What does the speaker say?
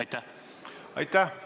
Aitäh!